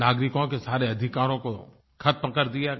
नागरिकों के सारे अधिकारों को खत्म कर दिया गया